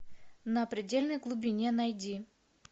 на предельной глубине найди